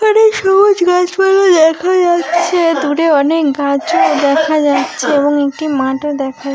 এখানে সবুজ গাছপালা দেখা যাচ্ছে দূরে অনেক গাছও দেখা যাচ্ছে এবং একটি মাঠও দেখা--